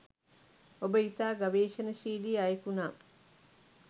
ඔබ ඉතා ගවේශනශීලී අයෙකු නම්